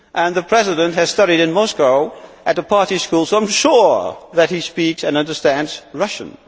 The President studied in Moscow at the Party School, so I am sure that he speaks and understands Russian.